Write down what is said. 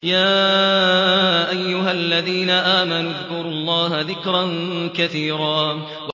يَا أَيُّهَا الَّذِينَ آمَنُوا اذْكُرُوا اللَّهَ ذِكْرًا كَثِيرًا